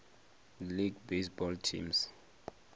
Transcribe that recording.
league baseball teams